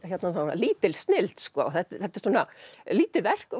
lítil snilld þetta er lítið verk og